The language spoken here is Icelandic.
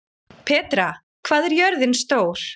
Petra, hvað er jörðin stór?